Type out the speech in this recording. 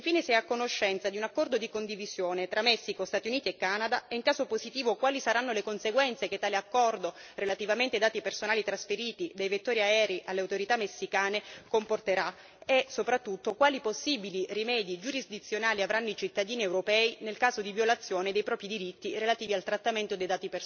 E infine, se è a conoscenza di un accordo di condivisione tra Messico, Stati Uniti e Canada e, in caso positivo, quali saranno le conseguenze che tale accordo relativamente ai dati personali trasferiti dei vettori aerei alle autorità messicane comporterà, e soprattutto quali possibili rimedi giurisdizionali avranno i cittadini europei nel caso di violazione dei propri diritti relativi al trattamento dei